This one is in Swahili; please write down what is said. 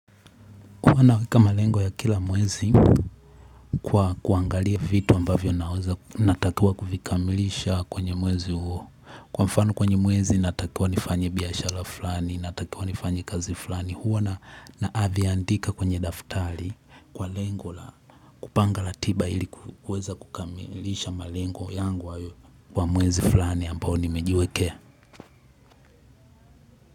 Huwa naweka malengo ya kila mwezi kwa kuangalia vitu ambavyo naweza natakiwa kuvikamilisha kwenye mwezi huo. Kwa mfano kwenye mwezi natakiwa nifanye biashara fulani, natakiwa nifanye kazi fulani huwa naavyandika kwenye daftali kwa lengo la kupanga ratiba ili kuweza kukamilisha malengo yangu ayo kwa mwezi fulani ambao nimejiwekea.